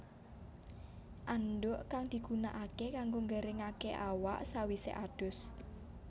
Andhuk kang digunakaké kanggo nggaringaké awak sawisé adus